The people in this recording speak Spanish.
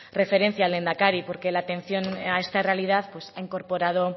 referencia al lehendakari porque la atención a esta realidad ha incorporado